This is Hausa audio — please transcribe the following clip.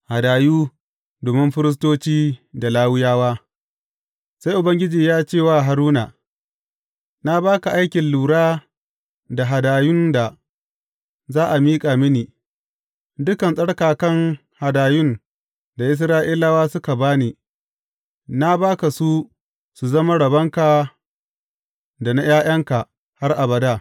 Hadayu domin firistoci da Lawiyawa Sai Ubangiji ya ce wa Haruna, Na ba ka aikin lura da hadayun da za a miƙa mini, dukan tsarkakan hadayun da Isra’ilawa suka ba ni, na ba ka su su zama rabonka da na ’ya’yanka har abada.